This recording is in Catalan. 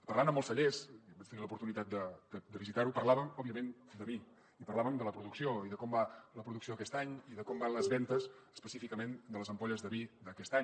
parlant amb els cellers vaig tenir l’oportunitat de visitar ho parlàvem òbviament de vi i parlàvem de la producció i de com va la producció aquest any i de com van les vendes específicament de les ampolles de vi d’aquest any